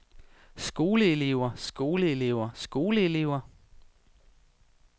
skoleelever skoleelever skoleelever